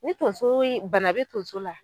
Ni tonso ye bana be tonso la